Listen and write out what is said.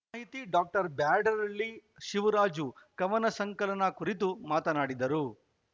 ಸಾಹಿತಿ ಡಾಕ್ಟರ್ ಬ್ಯಾಡರಹಳ್ಳಿ ಶಿವರಾಜು ಕವನ ಸಂಕಲನ ಕುರಿತು ಮಾತನಾಡಿದರು